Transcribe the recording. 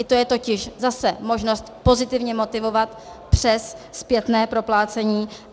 I to je totiž zase možnost pozitivně motivovat přes zpětné proplácení.